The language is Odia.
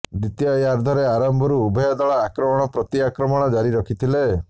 ଦ୍ବିତୀୟାର୍ଧରେ ଆରମ୍ଭରୁ ଉଭୟ ଦଳ ଅକ୍ରମଣ ପ୍ରତିଆକ୍ରମଣ ଜାରି ରଖିଥିଲେ